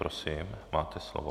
Prosím, máte slovo.